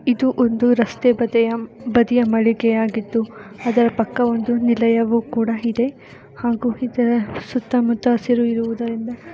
ಇದು ಒಂದು ರಸ್ತೆ ಬದಿಯ ಬದಿಯ ಮಳಿಗೆ ಆಗಿದ್ದು ಅದರ ಪಕ್ಕ ಒಂದು ನಿಲಯವು ಕೂಡ ಇದೆ ಹಾಗೂ ಇದರ ಸುತ್ತಮುತ್ತ ಹಸಿರು ಇರುವುದರಿಂದ --